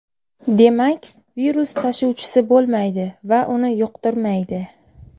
Demak, virus tashuvchisi bo‘lmaydi va uni yuqtirmaydi.